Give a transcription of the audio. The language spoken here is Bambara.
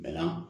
Bɛɛ la